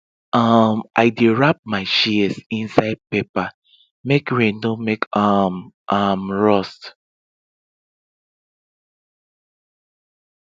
um i dey wrap my shears inside paper make rain no make um am rust